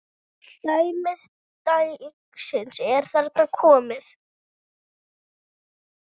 Dæmi dagsins er þaðan komið.